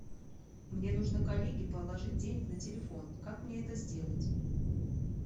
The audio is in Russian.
мне нужно коллеге положить денег на телефон как мне это сделать